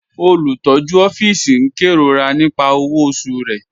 Olùtọ̀jú òfìísì n kẹ́rọ̀rà nípà owó ọ̀ṣù rẹ̀.